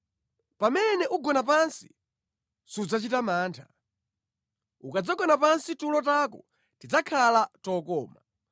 pamene ugona pansi, sudzachita mantha; ukadzagona pansi tulo tako tidzakhala tokoma.